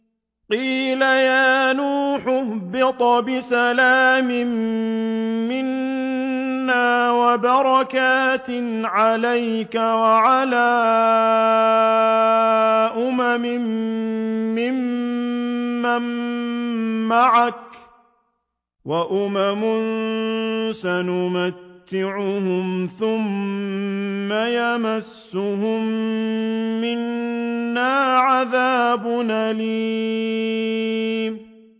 قِيلَ يَا نُوحُ اهْبِطْ بِسَلَامٍ مِّنَّا وَبَرَكَاتٍ عَلَيْكَ وَعَلَىٰ أُمَمٍ مِّمَّن مَّعَكَ ۚ وَأُمَمٌ سَنُمَتِّعُهُمْ ثُمَّ يَمَسُّهُم مِّنَّا عَذَابٌ أَلِيمٌ